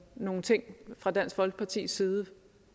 nogle ting fra dansk folkepartis side